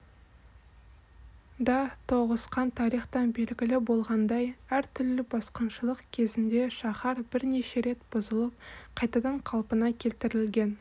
да тоғысқан тарихтан белгілі болғандай әртүрлі басқыншылық кезінде шаһар бірнеше рет бұзылып қайтадан қалпына келтірілген